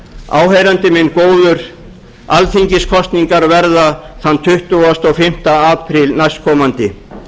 áheyrandi minn góður alþingiskosningar verða þann tuttugasta og fimmta apríl næstkomandi